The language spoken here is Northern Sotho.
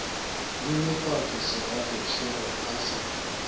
nyenyefatša segagešo re ka se